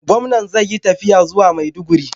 Gamnom zai Yi tafiya zuwa maiduguri